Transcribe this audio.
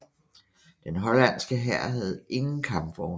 Den hollandske hær havde ingen kampvogne